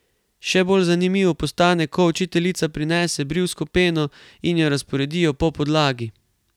Še bolj zanimivo postane, ko učiteljica prinese brivsko peno in jo razporedijo po podlagi.